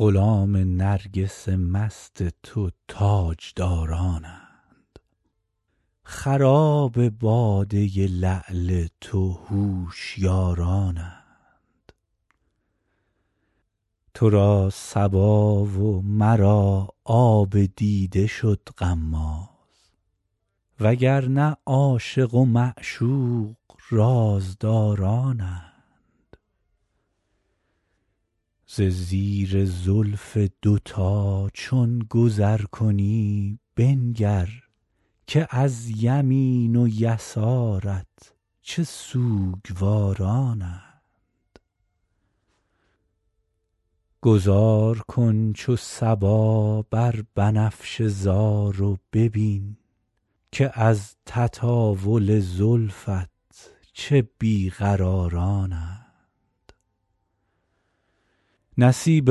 غلام نرگس مست تو تاجدارانند خراب باده لعل تو هوشیارانند تو را صبا و مرا آب دیده شد غماز و گر نه عاشق و معشوق رازدارانند ز زیر زلف دوتا چون گذر کنی بنگر که از یمین و یسارت چه سوگوارانند گذار کن چو صبا بر بنفشه زار و ببین که از تطاول زلفت چه بی قرارانند نصیب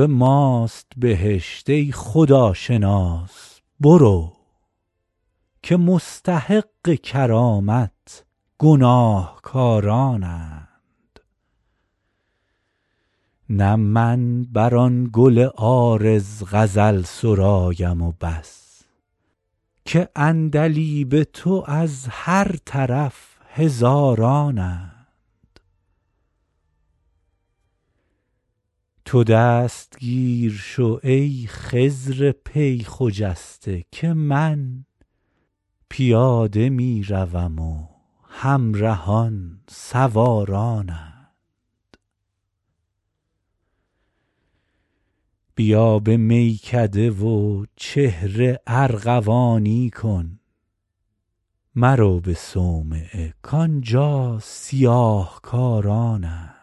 ماست بهشت ای خداشناس برو که مستحق کرامت گناهکارانند نه من بر آن گل عارض غزل سرایم و بس که عندلیب تو از هر طرف هزارانند تو دستگیر شو ای خضر پی خجسته که من پیاده می روم و همرهان سوارانند بیا به میکده و چهره ارغوانی کن مرو به صومعه کآنجا سیاه کارانند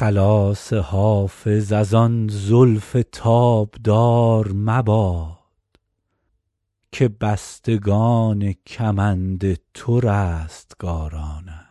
خلاص حافظ از آن زلف تابدار مباد که بستگان کمند تو رستگارانند